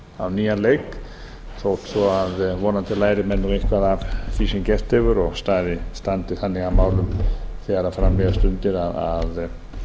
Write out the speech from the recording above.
á nýjan leik þó svo að vonandi læri menn eitthvað af því sem gerst hefur og standi þannig að málum þegar fram líða stundir að